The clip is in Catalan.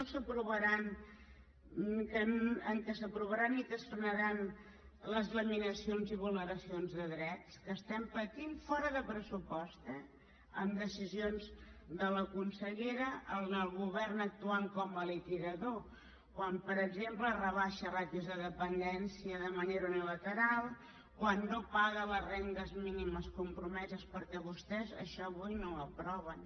que s’aprovaran i es frenaran les laminacions i vulneracions de dret que estem patint fora de pressupost eh amb decisions de la consellera amb el govern actuant com a liquidador quan per exemple rebaixa ràtios de dependència de manera unilateral quan no paga les rendes mínimes compromeses perquè vostès això avui no ho aproven